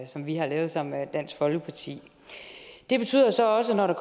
som vi har lavet sammen med dansk folkeparti det betyder så også at når der